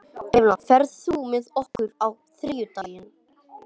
Evelyn, ferð þú með okkur á þriðjudaginn?